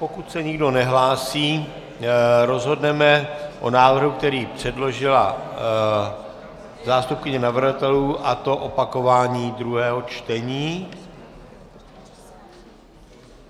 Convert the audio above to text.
Pokud se nikdo nehlásí, rozhodneme o návrhu, který předložila zástupkyně navrhovatelů, a to opakování druhého čtení.